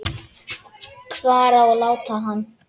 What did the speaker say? Hvar á að láta hann?